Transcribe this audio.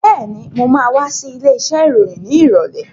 Been, mo ma wá sí ilé iṣẹ́ ìròyìn ní ìrọ̀lẹ́